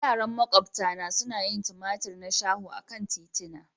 Yara maƙwabta na suna yin tumatur na shaho akan titina.